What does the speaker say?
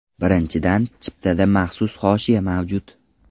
Birinchidan, chiptada maxsus hoshiya mavjud.